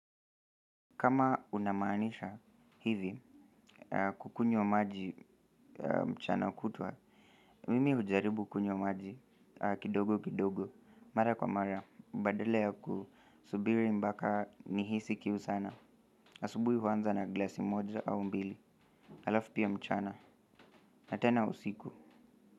Kama unamaanisha hivi kunywa maji mchana kutwa mimi hujaribu kunywa maji kidogo kidogo mara kwa mara badala ya kusubiri mpaka nihisi kihu sana asubui huanza na glasi moja au mbili. Alafu pia mchana, na tena usiku.